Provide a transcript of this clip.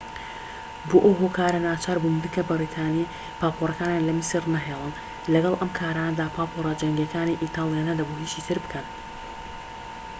بۆ ئەو هۆکارە ناچاربوون بنکە بەریتانی و پاپۆرەکانیان لە میسر نەهێڵن لەگەڵ ئەم کارانەدا پاپۆرە جەنگیەکانی ئیتالیا نەدەبوو هیچی تر بکەن